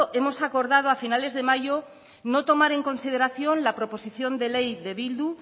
hemos acordado a finales de mayo no tomar en consideración la proposición de ley de bildu